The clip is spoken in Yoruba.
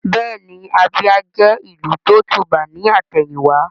Bẹ́ẹ̀ni Abia jẹ́ ìlú tó tùbà ní àtẹ̀yìn wá